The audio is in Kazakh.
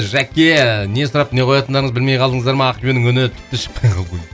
жәке не сұрап не қоятындарыңызды білмей қалдыңыздар ма ақбибінің үні тіпті шықпай қалды ғой